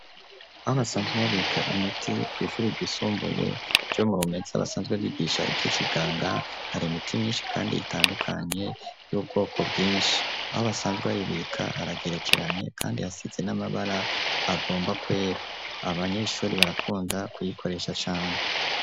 Aho basanzwe babika imiti kw'ishuri ryisumbuye ryo Murumeza basanzwe bigisha ivy'ikiganga, hari imiti myinshi kandi itandukanye y'ubwoko bwinshi, aho basanzwe bayibika haragerekeranye kandi hasize n'amabara agomba kwera abanyeshuri barakunda kuyikoresha cane.